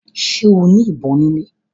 Ṣe o ní ìbọn ni ilè?